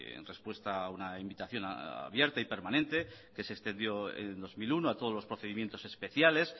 en respuesta a una invitación abierta y permanente que se extendió en dos mil uno a todos los procedimientos especiales